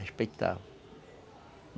Respeitava.